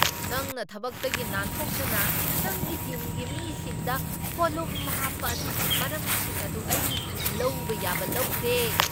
ꯅꯪꯅ ꯊꯕꯛꯇꯒꯤ ꯅꯥꯟꯊꯣꯛꯇꯨꯅ ꯅꯪꯒꯤ ꯇꯤꯝꯒꯤ ꯃꯤꯁꯤꯡꯗ ꯄꯣꯠꯂꯨꯝ ꯍꯥꯞꯄ ꯑꯗꯨꯒꯤ ꯃꯔꯝꯁꯤꯡ ꯑꯗꯨ ꯑꯩ ꯂꯧꯕ ꯌꯥꯕ ꯂꯧꯈ꯭ꯔꯦ꯫